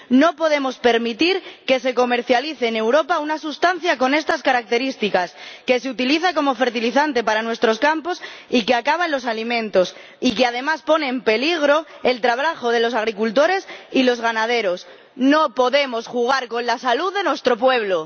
No podemos permitir que se comercialice en Europa una sustancia con estas características, que se utiliza como fertilizante para nuestros campos y que acaba en los alimentos y que, además, pone en peligro el trabajo de los agricultores y los ganaderos. No podemos jugar con la salud de nuestro pueblo.